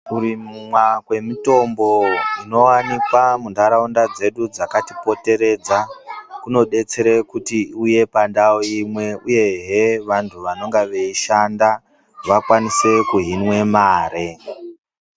Kurimwa kwemitombo inowanikwa mundarawunda dzedu dzakatipoteredza, kunodetsere kuti uye pandawo imwe uyeye vantu vanonga veyishanda vakwanise kuhimwe mari.